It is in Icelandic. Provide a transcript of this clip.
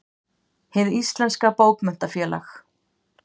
Hið íslenska bókmenntafélag.